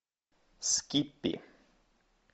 скиппи